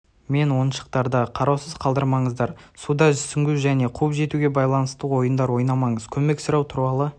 мен оншықтарда қарауысыз қалдырмаңыздар суда сүңгу және қуып жетуге байланысты ойындар ойнамаңыз көмек сұрау туралы